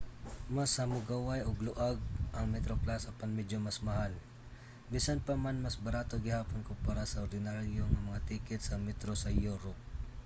mas hamugaway ug luag ang metroplus apan medyo mas mahal bisan pa man mas barato gihapon kompara sa ordinaryo nga mga ticket sa metro sa europe